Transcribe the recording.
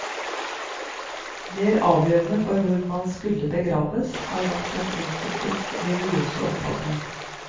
Mer avgjørende for hvor man skulle begraves, har vært den enkeltes religiøse oppfatning.